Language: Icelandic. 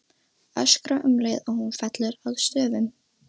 Öskra um leið og hún fellur að stöfum.